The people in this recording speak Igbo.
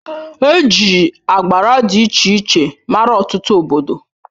Eji agbara dị iche iche mara Ọtụtụ obodo.